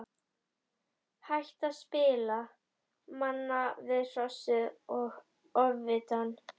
Hætta að spila manna við Hrossið og Ofvitann.